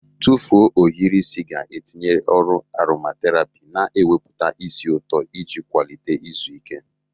Tụfuo ohiri isi ga-etinye ọrụ aromaterapi, na-ewepụta ísì ụtọ iji kwalite izu ike.